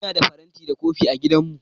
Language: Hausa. Ina da faranti da kofina a gidanmu.